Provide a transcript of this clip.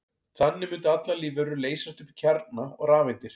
Þannig mundu allar lífverur leysast upp í kjarna og rafeindir.